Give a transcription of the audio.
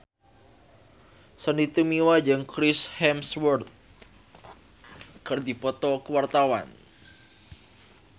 Sandy Tumiwa jeung Chris Hemsworth keur dipoto ku wartawan